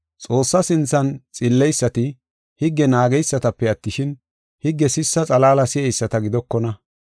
Xoossaa sinthan xilleysati higge naageysatape attishin, higge sissa xalaala si7eyisata gidokona.